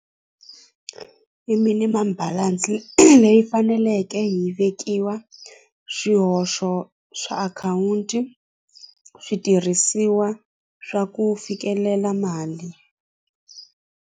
I minimum balance leyi faneleke hi vekiwa swihoxo swa akhawunti switirhisiwa swa ku fikelela mali.